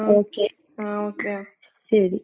Okay, ശെരി.